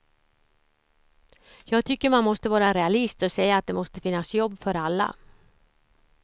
Jag tycker man måste vara realist och säga att det måste finnas jobb för alla.